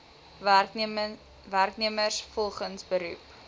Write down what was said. werknemers volgens beroep